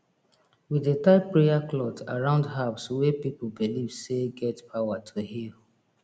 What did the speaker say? we dey tie prayer cloth around herbs wey people believe say get power to heal